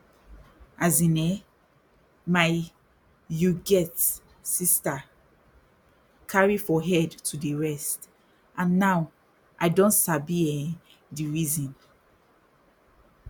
as in eh my you get sister carry for head to dey rest and now i don sabi um di reason